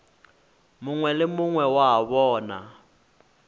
mongwe le mongwe wa bona